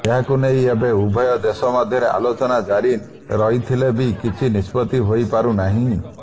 ଏହାକୁ ନେଇ ଏବେ ଉଭୟ ଦେଶ ମଧ୍ୟରେ ଆଲୋଚନା ଜାରି ରହିଥିଲେ ବି କିଛି ନିଷ୍ପତ୍ତି ହୋଇପାରୁନାହିଁ